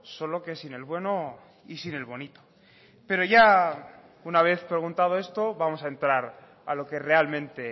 solo que sin el bueno y sin el bonito pero ya una vez preguntado esto vamos a entrar a lo que realmente